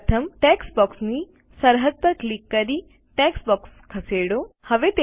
પ્રથમ ટેક્સ્ટ બોક્સની સરહદ પર ક્લિક કરી ટેક્સ્ટ બોક્સ ખસેડો